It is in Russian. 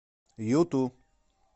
юту